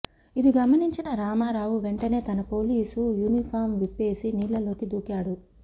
ఇది గమనించిన రామారావు వెంటనే తన పోలీసు యూనిఫాం విప్పేసి నీళ్లలోకి దూకాడు